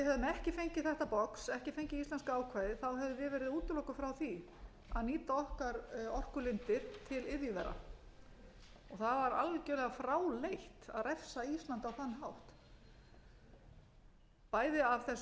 ekki fengið þetta box ekki fengið íslenska ákvæðið hefðum við verið útilokuð frá því að nýta okkar orkulindir til iðjuvera og það var algjörlega fráleitt að refsa íslandi á þann hátt bæði af